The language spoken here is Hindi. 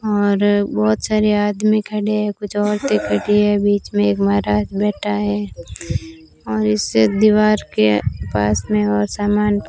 और बोहोत सारे आदमी खड़े है कुछ औरते खड़ी है बीच में एक महाराज बैठा है और इस दीवार के पास में और सामान --